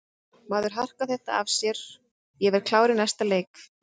Maður harkar þetta af sér og ég verð klár í næsta leik.